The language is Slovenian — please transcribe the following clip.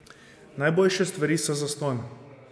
Najboljše stvari so zastonj.